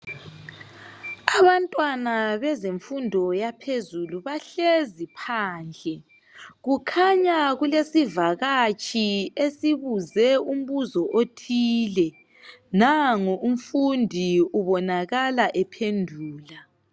Abantwana bezemfundo yaphezulu bahlezi phandle. Kukhanya kulesivakatshi esibuze umbuzo othile. Nango umfundi ubonakala ephendula